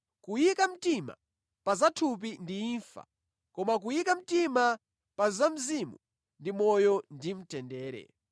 Kuyika mtima pa zathupi ndi imfa koma kuyika mtima pa za Mzimu ndi moyo ndi mtendere.